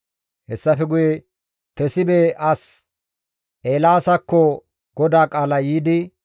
Hessafe guye Tesibe as Eelaasakko GODAA qaalay yiidi,